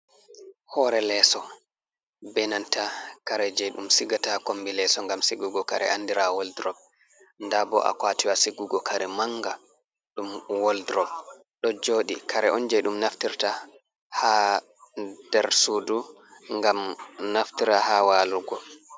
Hoore leeso beenanta kare jey ɗum sigata kommbi leeso ngam sigugo kare andira "woldurop" ndaa bo a "kwaatiwa" sigugo kare manga, ɗum "woldurop" ɗo jooɗi. Kare on jeo ɗum naftirta ha nder suudu ngam naftira ha waalugo.